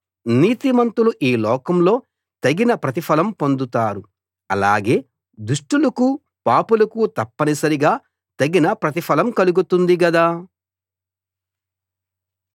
నీతిమంతులు ఈ లోకంలో తగిన ప్రతిఫలం పొందుతారు అలాగే దుష్టులకు పాపులకు తప్పనిసరిగా తగిన ప్రతిఫలం కలుగుతుంది గదా